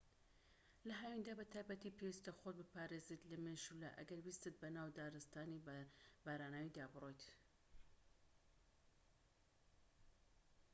لە هاویندا بە تایبەتی پێویستە خۆت بپارێزیت لە مێشولە ئەگەر ویستت بەناو دارستانی باراناویدا بڕۆیت